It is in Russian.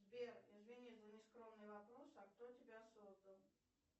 сбер извини за нескромный вопрос а кто тебя создал